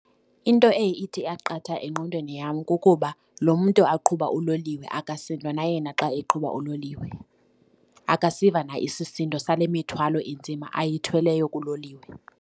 Into eye ithi qatha engqondweni yam kukuba lo mntu aqhuba uloliwe akasindwa na yena xa eqhuba uloliwe, akasiva na isisindo sale mithwalo inzima ayikhweleyo kuloliwe.